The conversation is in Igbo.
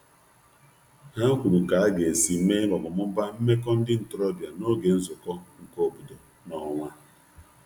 Ha kwuru ka aga esi mee/mụbaa meko ndi ntorobia n'oge nzuko nke obodo n'onwa